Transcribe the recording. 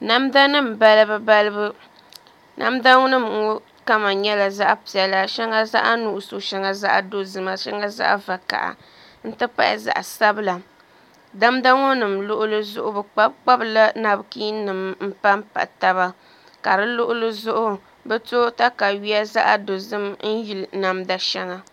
Namda nim balibu balibu namda nim ŋɔ kama nyɛla zaɣ piɛla shɛŋa zaɣ nuɣso shɛŋa zaɣ dozima shɛŋa zaɣ vakaɣa n ti pahi zaɣ sabila namda ŋɔ nim luɣuli zuɣu bi kpabi kpabila napkiin nim n panpa taba ka di luɣuli zuɣu bi to katawiya zaɣ dozim n yili namda shɛŋa